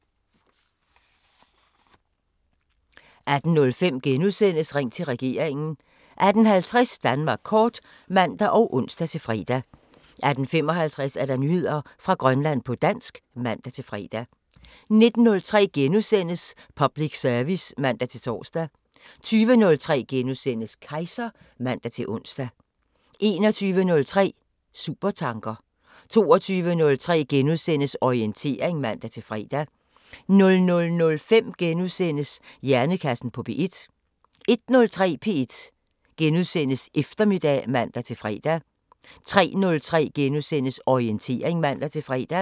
18:05: Ring til regeringen * 18:50: Danmark kort (man og ons-fre) 18:55: Nyheder fra Grønland på dansk (man-fre) 19:03: Public service *(man-tor) 20:03: Kejser *(man-ons) 21:03: Supertanker 22:03: Orientering *(man-fre) 00:05: Hjernekassen på P1 * 01:03: P1 Eftermiddag *(man-fre) 03:03: Orientering *(man-fre)